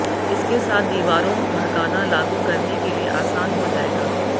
इसके साथ दीवारों भड़काना लागू करने के लिए आसान हो जाएगा